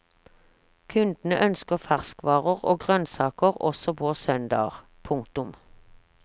Kundene ønsker ferskvarer og grønnsaker også på søndager. punktum